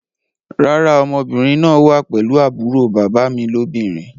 Rárá, ọmọbìnrin náà wá pelu àbúrò bàbá mi lóbìnrin